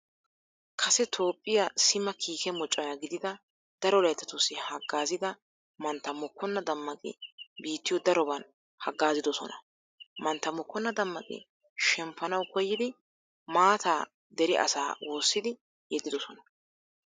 Kase toophphiya sima kiike mocona gididi daro layttatussi haggaazida mantta mokkonna dammaqi biittiyo daroban haggaazidosona. Mantta mokkonna dammaqi shemppanawu koyyidi maataa dere asaa woossidi yeddidosona.